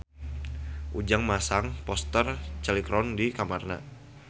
Ujang masang poster Cheryl Crow di kamarna